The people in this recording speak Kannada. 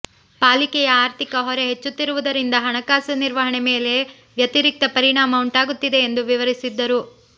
ಪಾಲಿಕೆಯ ಆರ್ಥಿಕ ಹೊರೆ ಹೆಚ್ಚುತ್ತಿರುವುದರಿಂದ ಹಣಕಾಸು ನಿರ್ವಹಣೆ ಮೇಲೆ ವ್ಯತಿರಿಕ್ತ ಪರಿಣಾಮ ಉಂಟಾಗುತ್ತಿದೆ ಎಂದು ವಿವರಿಸಿದ್ದರು